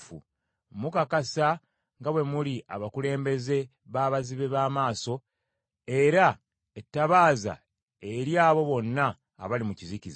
Mukakasa nga bwe muli abakulembeze b’abazibe b’amaaso, era ettabaaza eri abo bonna abali mu kizikiza.